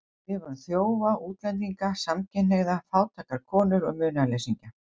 Hún skrifar um þjófa, útlendinga, samkynhneigða, fátækar konur og munaðarleysingja.